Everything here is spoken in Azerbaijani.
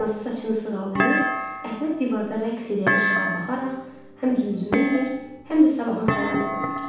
Anası saçını sığallayır, Əhməd divarda rəqs eləyən işığa baxaraq həm zümzümə eləyir, həm də sabahın xəyalını qururdu.